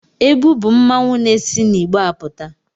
Ebu bụ mmanwụ na-esi n'igbe apụta.